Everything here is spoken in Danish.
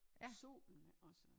Solen ik også